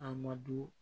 A ma don